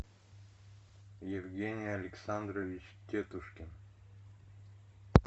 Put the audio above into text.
евгений александрович тетушкин